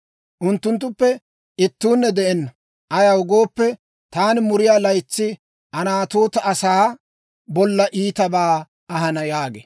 unttunttuppe ittuunne de'enna. Ayaw gooppe, taani muriyaa laytsi Anatoota asaa bolla iitabaa ahana» yaagee.